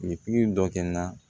pikiri dɔ kɛ n na